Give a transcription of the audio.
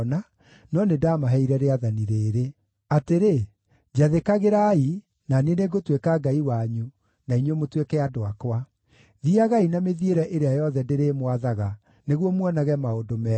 no nĩndamaheire rĩathani rĩrĩ: Atĩrĩ, njathĩkagĩrai, na niĩ nĩngũtuĩka Ngai wanyu na inyuĩ mũtuĩke andũ akwa. Thiiagai na mĩthiĩre ĩrĩa yothe ndĩrĩmwathaga, nĩguo muonage maũndũ mega.